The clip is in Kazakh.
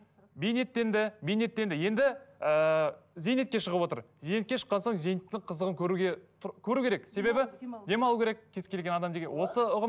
бейнеттенді бейнеттенді енді ыыы зейнетке шығып отыр зейнетке шыққан соң зейнеттің қызығын көруге көру керек себебі демалу керек кез келген адам деген осы ұғым